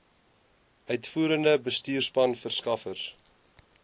uitvoerende bestuurspan verskaffers